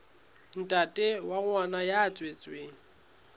ntate wa ngwana ya tswetsweng